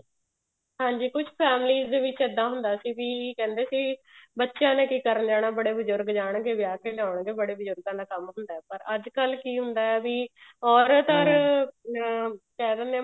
ਹਾਂਜੀ ਕੁੱਝ families ਦੇ ਵਿੱਚ ਇੱਦਾਂ ਹੁੰਦਾ ਸੀ ਵੀ ਕਹਿੰਦੇ ਸੀ ਬੱਚਿਆਂ ਨੇ ਕੀ ਕਰਨ ਜਾਣਾ ਬੜੇ ਬਜੁਰਗ ਜਾਣਗੇ ਵਿਆਹ ਤੇ ਜਾਣਗੇ ਬੜੇ ਬਜੁਰਗਾ ਦਾ ਕੰਮ ਹੁੰਦਾ ਪਰ ਅੱਜਕਲ ਕੀ ਹੁੰਦਾ ਹੈ ਵੀ ਔਰਤ or ਅਹ ਕਹਿ ਦਿੰਦੇ